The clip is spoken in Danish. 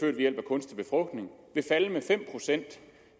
ved hjælp af kunstig befrugtning